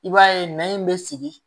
I b'a ye nɛn in bɛ sigi